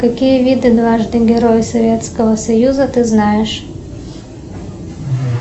какие виды дважды героя советского союза ты знаешь